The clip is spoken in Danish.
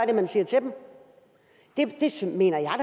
det man siger til dem det mener jeg